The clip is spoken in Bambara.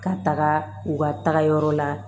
Ka taga u ka taga yɔrɔ la